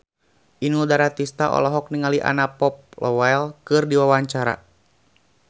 Inul Daratista olohok ningali Anna Popplewell keur diwawancara